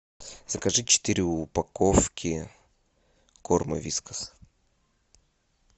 закажи четыре упаковки корма вискас